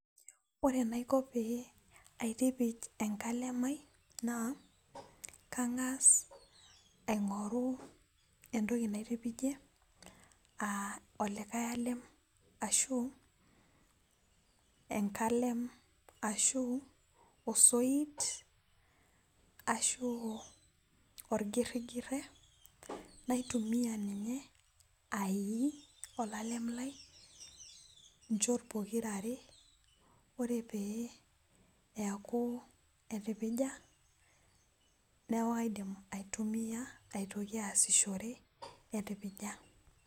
ore enaiko pee aitipij ankalem ai naa kang'as aigoru entoki naitipijie aa olikae alem ashu enkalem, ashu osoit ,ashu orgirigiret, naitumiya ninye aii olalem lai , ichot pokirare, ore pee eeku etipija neeku kaidim aitumiya aitoki asishore etipija.